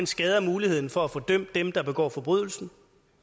skader muligheden for at få dømt dem der begår forbrydelsen